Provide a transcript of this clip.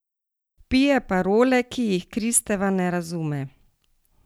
Vpije parole, ki jih Kristeva ne razume.